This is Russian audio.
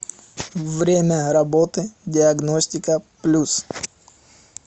время работы диагностика плюс